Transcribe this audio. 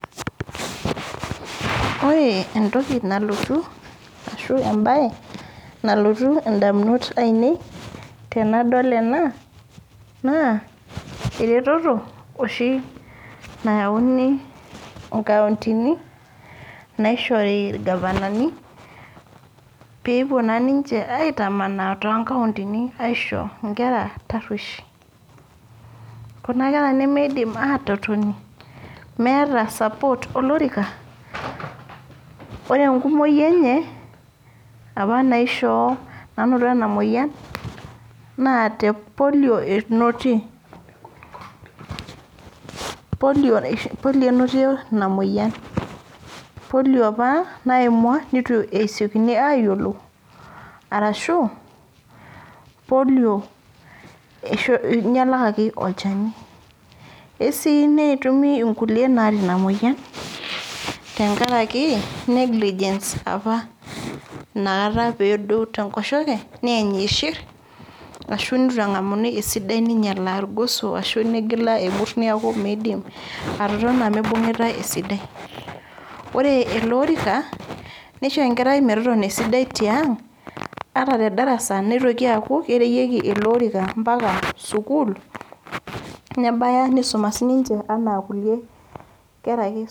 Wore entoki nalotu, ashu embaye nalotu indamunot aiinei tenadol ena, naa eretoto oshi nayauni inkauntini, naishori irgavanani, peepuo naa ninche aitamanaa toonkauntini aisho inkera tarruesh. Kuna kera nimiidim aatotoni, meeta support olorika, wore enkumoyi enye, apa nainoto ena moyian, naa te polio inotie. Polio inotie ina moyian. Polio apa naimua nitu esekini aayiolou, arashu polio inyialakaki olchani. Esii netumi inkulie naata ina moyian, tenkaraki negligence apa naata pee edou tenkoshoke, neeny iishir, ashu nitu engamuni esidai ninyiala irgoso ashu ninyiala emurs neeku miidim atotona mibungitae esidai. Wore ele orika, nisho enkerai metotona esidai tiang, ata te darasa nitoki aaku kereyieki iloorika ambaka sukuul, nebaya nisuma sininche enaa kulie kera ake